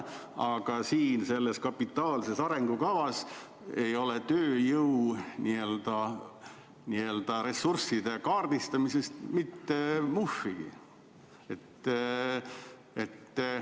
Aga siin selles kapitaalses arengukavas ei ole tööjõuressursside kaardistamisest mitte muhvigi.